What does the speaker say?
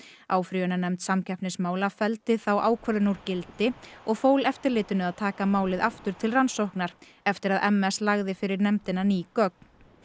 áfrýjunarnefnd samkeppnismála felldi þá ákvörðun úr gildi og fól eftirlitinu að taka málið aftur til rannsóknar eftir að m s lagði fyrir nefndina ný gögn